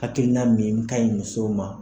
Hakilina min ka ɲi musow ma.